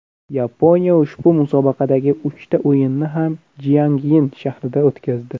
Yaponiya ushbu musobaqadagi uchta o‘yinni ham Jiangyin shahrida o‘tkazdi.